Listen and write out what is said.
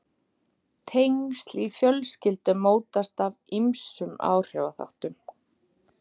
Tengsl í fjölskyldum mótast af ýmsum áhrifaþáttum.